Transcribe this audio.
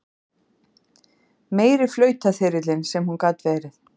Meiri flautaþyrillinn sem hún gat verið!